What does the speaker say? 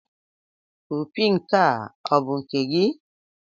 Opi nke a ọ̀ bụ nke gị?